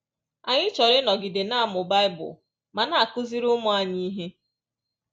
Anyị chọrọ ịnọgide na-amụ Bible ma na-akụziri ụmụ anyị ihe